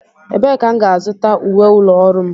Ebee ka m ga-azụta uwe ụlọ ọrụ m?